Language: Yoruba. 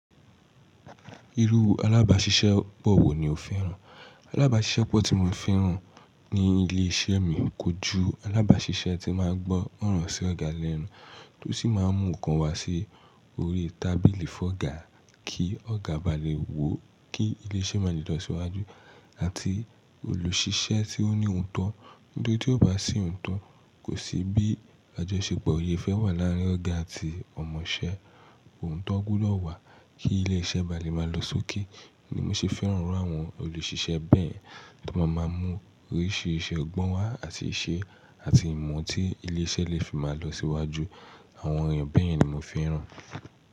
Irú alábàáṣiṣẹ́ pọ̀ wò ni o fẹ́ràn? Alábàáṣiṣẹ́ pọ̀ tí mo fi ń ràn ní ilé iṣẹ́ mi kójú alábàáṣiṣẹ́ tí máa ń gbọ́ òrò sí ọ̀gá lẹ́nu, tó sì máa ń mú nǹkan wá sí orí tábìlì fọ́gà kí ọ̀gá ba lè wò ó kí ilé iṣẹ́ máa lè lọ síwájú àti olùṣiṣẹ́ tí ó ní òǹtọ̀. Nítorí tí ó bá sí òotọ̀, kò sí bí àjọṣepọ̀ ò le fẹ́ wà láàárín ọ̀gá àti ọ̀mọ̀ṣẹ́. Òotọ̀ gbódọ̀ wá kí ilé iṣẹ́ ba lè máa lọ sókè, ni mo ṣe fẹ́ràn irú àwọn olùṣiṣẹ́ bẹ́ẹ̀ tí wọ́n máa maa ń mú oríṣi iṣẹ́ ọgbọ́n wá àti iṣẹ́ àti ìmọ̀ tí ilé iṣẹ́ lè fi máa lọ síwájú. Àwọn èèyàn bẹ́ẹ̀ ni mo fẹ́ràn.